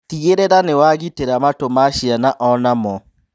Tigĩrĩra nĩwagitĩra matũ ma ciana onamo